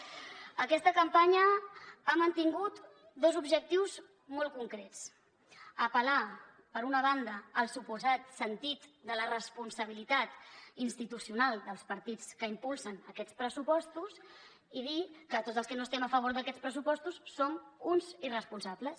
aquesta campanya ha mantingut dos objectius molt concrets apel·lar per una banda al suposat sentit de la responsabilitat institucional dels partits que impulsen aquests pressupostos i dir que tots els que no estem a favor d’aquests pressupostos som uns irresponsables